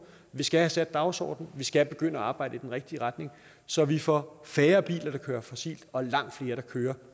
vi skal have sat dagsordenen vi skal begynde at arbejde i den rigtige retning så vi får færre biler der kører fossilt og langt flere der kører